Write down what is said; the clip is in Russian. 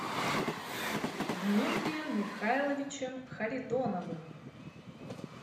дмитрием михайловичем харитоновым